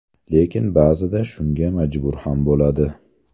Lekin, ba’zida shunga majbur ham bo‘ladi.